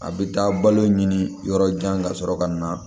A bɛ taa balo ɲini yɔrɔ jan ka sɔrɔ ka na